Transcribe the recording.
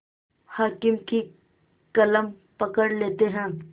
हाकिम की कलम पकड़ लेते हैं